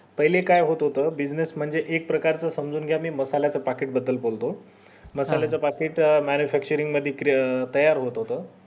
पहिले काय होत होत business म्हणजे एक प्रकारेच समजून घ्या मी मसाले च packet बद्दल बोलो मसाले च packet magnifacturing मध्ये क्रि तयार होत होत